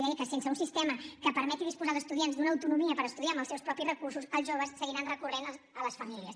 i deia que sense un sistema que permeti disposar als estudiants d’una autonomia per estudiar amb els seus propis recursos els joves seguiran recorrent a les famílies